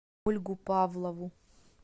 ольгу павлову